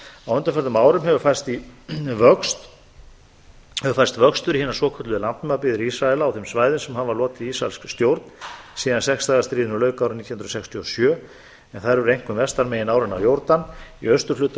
á undanförnum árum hefur færst vöxtur í hina svokölluðu nafnabyggðir ísraela á þeim svæðum sem hafa lotið ísraelskri stjórn síðan sex daga stríðinu lauk árið nítján hundruð sextíu og sjö en þær eru einkum vestan megin árinnar jórdan í austurhluta